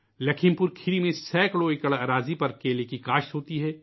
لکھیم پور کھیری میں سینکڑوں ایکڑ زمین پر کیلے کی کھیتی ہوتی ہے